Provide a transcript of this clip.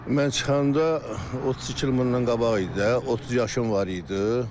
Mən çıxanda 32 il bundan qabaq idi də, 30 yaşım var idi.